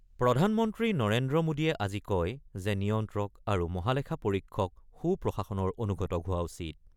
প্ৰধানমন্ত্ৰী নৰেন্দ্ৰ মোডীয়ে আজি কয় যে নিয়ন্ত্ৰক আৰু মহালেখা পৰীক্ষক সুপ্ৰশাসনৰ অনুঘটক হোৱা উচিত।